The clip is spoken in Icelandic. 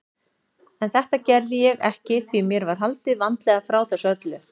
En þetta gerði ég ekki því mér var haldið vandlega frá þessu öllu.